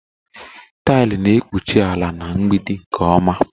Taịlị na-ekpuchi ala na mgbidi nke ọma